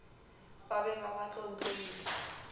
ba be ba ba tlontlolle